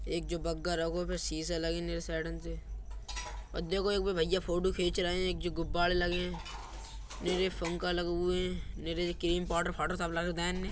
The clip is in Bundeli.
एक जो बग्गा रगो पे सीसे लेगे नेरे साइडन से देखो एक कोई भईया फोटो खींच रहे है। एक जो गुब्बारे लगे है। नीरे फूंका लगे हुए है। नीरे क्रीम पाउडर फाऊडर सब लगरे देन --